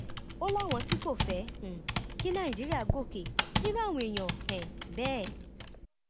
ó láwọn tí kò fẹ um kí nàìjíríà gòkè nírú àwọn èèyàn um bẹẹ